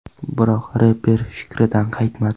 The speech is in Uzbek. Biroq reper fikridan qaytmadi.